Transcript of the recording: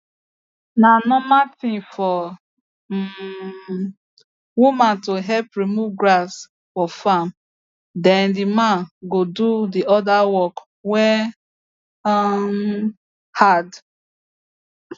na normal thing for um women to help remove grass for farm then the men go do the other work wey um hard